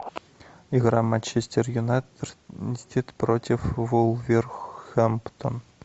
игра манчестер юнайтед против вулверхэмптон